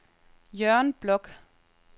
Jørgen Bloch